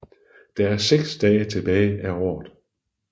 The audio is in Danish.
Der er 6 dage tilbage af året